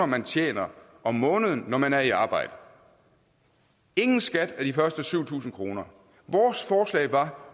man tjener om måneden når man er i arbejde ingen skat af de første syv tusind kroner vores forslag var